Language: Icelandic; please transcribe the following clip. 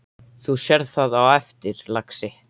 Þú sérð það á eftir, lagsi.